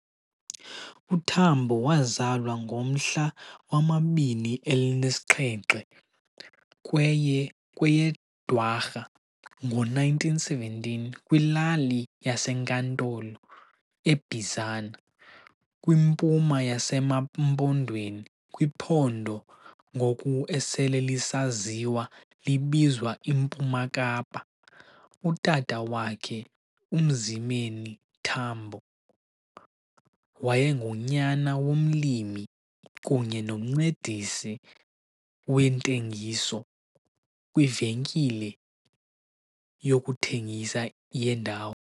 uTambo wazalwa ngomhla 27 kweye kweyeDwarha ngo-1917 kwilali yaseNkantolo eBizana, kwimpuma yaseMaMpondweni kwiphondo ngoku esele lisaziwa libizwa iMpuma Kapa. Utata wakhe, uMzimeni Tambo, wayengunyana womlimi kunye nomncedisi wentengiso kwivenkile yokuthengisa yendawo.